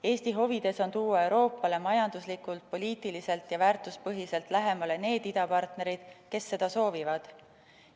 Eesti huvides on tuua Euroopale majanduslikult, poliitiliselt ja väärtuspõhiselt lähemale need idapartnereid, kes seda soovivad.